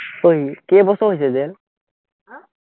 ঐ কেইবছৰ হৈছে জেল?